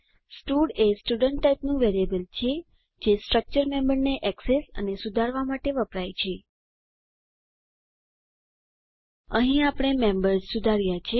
stud એ student ટાઇપનું variable છે તે સ્ટ્રક્ચર મેમ્બરને ઍક્સેસ અને સુધારવા માટે વપરાય છે અહીં આપણે મેમ્બેર્સ સુધાર્યા છે